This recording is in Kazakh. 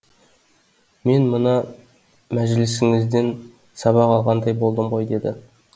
мен мына мәжілісіңізден сабақ алғандай болдым ғой деді